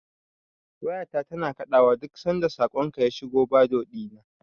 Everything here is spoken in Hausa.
Wayata tana kaɗawa duk sanda saƙonka ya shiga Bado ɗina.